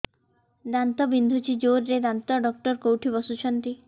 ଦାନ୍ତ ବିନ୍ଧୁଛି ଜୋରରେ ଦାନ୍ତ ଡକ୍ଟର କୋଉଠି ବସୁଛନ୍ତି